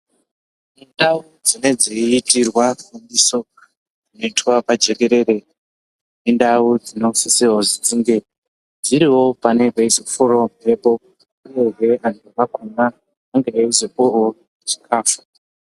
Ndau dzinenge dzaiitirwa chiziviso chinoitwa pajekerere indau dzinosisirwa kuti dzinge dziriwo panenge paizofurawo mhepo uyehe antu akona ange aizopuwawo chikafu.